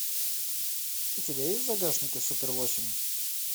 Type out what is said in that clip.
у тебя есть в загашнике супер восемь